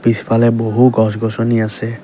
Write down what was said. পিছফালে বহু গছ গছনি আছে।